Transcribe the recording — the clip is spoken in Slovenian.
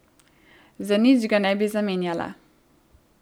Za nič ga ne bi zamenjala.